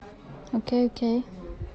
окей окей